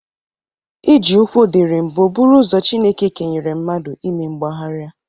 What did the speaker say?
Iji ụkwụ dịrị mbụ bụrụ ụzọ Chineke kenyere mnadụ ime mgbaharịa.